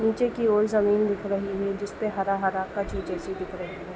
नीचे की और जमीन दिख रही है जिस पर हरा-हरा कछुए जैसी दिख रही है।